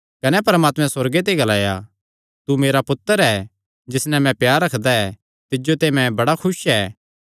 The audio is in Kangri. कने परमात्मे सुअर्गे ते ग्लाया तू मेरा पुत्तर ऐ जिस नैं मैं प्यार रखदा ऐ तिज्जो ते मैं बड़ा खुस ऐ